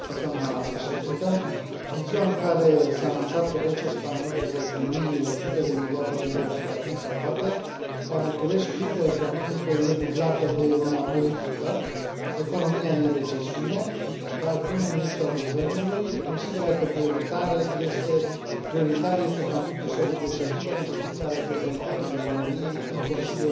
În ziua în care s a anunțat că băncile spaniole vor primi 100 de miliarde de euro pentru a fi salvate, la București criza economică este dublată de una politică, economia este în recesiune, dar prim ministrul guvernului consideră că prioritar este conflictul său cu președintele, în privința reprezentării României în Consiliul European.